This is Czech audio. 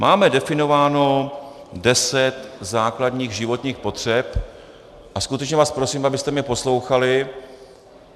Máme definováno deset základních životních potřeb - a skutečně vás prosím, abyste mě poslouchali.